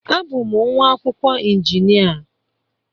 Abụ m nwa akwụkwọ injinia